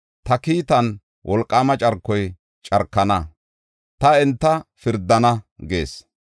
Ta kiitan wolqaama carkoy carkana; ta enta pirdana” gees.